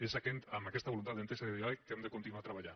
és amb aquesta voluntat d’entesa i de diàleg que hem de continuar treballant